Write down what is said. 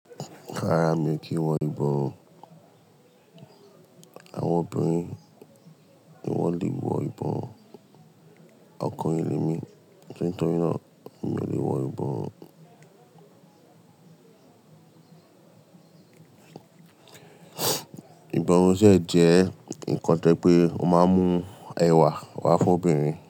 Rárá mi kì í wọ ìbọrun. Àwọn obìnrin ni wọ́n le wọ ìbọrun. Ọkùnrin ni emí, torí náà mi ò lè wọ ìbọrun. Ìbọrun dẹ̀ jẹ́ ǹkan tó je pé o máa ń mú ẹwà wá fún obìnrin.